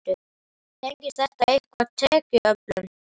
Tengist þetta eitthvað tekjuöflun?